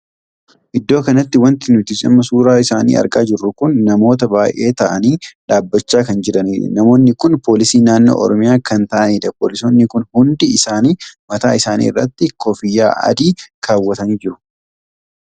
Iddoo kanatti wanti nuti amma suuraa isaanii argaa jirru kun namoota baay'ee taa'anii dhaabbachaa kan jiranidha. namoonni kun poolisii naannoo oromiyaa kan taa'aniidha. poolisoonni kun hundi isaanii mataa isaanii irratti koffiyyaa adii kaawwatanii jiru.